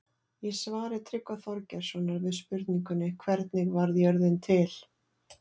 Í svari Tryggva Þorgeirssonar við spurningunni Hvernig varð jörðin til?